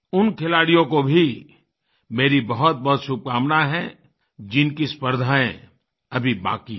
उन खिलाड़ियों को भी मेरी बहुतबहुत शुभकामना है जिनकी स्पर्धाएँ अभी बाकी हैं